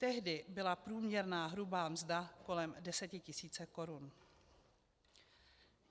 Tehdy byla průměrná hrubá mzda kolem 10 tisíc korun.